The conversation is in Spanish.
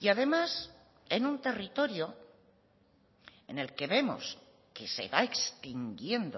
y además en un territorio en el que vemos que se va extinguiendo